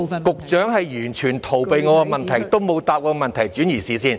局長完全逃避我的問題，沒有回答，只是轉移視線。